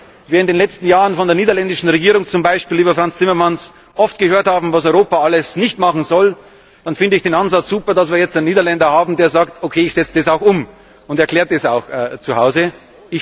Und wenn wir in den letzten Jahren von der niederländischen Regierung, zum Beispiel über Frans Timmermans, oft gehört haben, was Europa alles nicht machen soll, dann finde ich den Ansatz super, jetzt einen Niederländer zu haben, der sagt Okay, ich setze das auch um, und das auch zuhause erklärt.